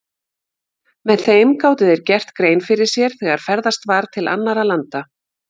Með þeim gátu þeir gert grein fyrir sér þegar ferðast var til annarra landa.